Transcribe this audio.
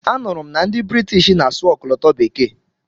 A nụrụ m na ndị Britishi na-asụ ọkọlọtọ bekee.